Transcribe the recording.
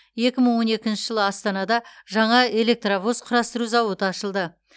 екі мың он екінші жылы астанада жаңа электровоз құрастыру зауыты ашылды